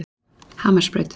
Hamarsbraut